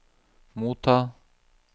motta